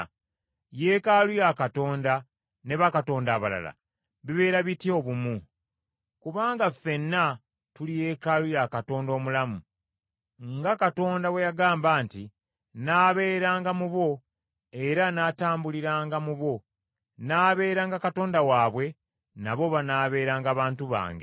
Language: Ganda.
Yeekaalu ya Katonda ne bakatonda abalala bibeera bitya obumu? Kubanga ffenna tuli Yeekaalu ya Katonda omulamu. Nga Katonda bwe yagamba nti, “Nnaabeeranga mu bo era natambuliranga mu bo, nnaabeeranga Katonda waabwe, nabo banaabeeranga bantu bange.”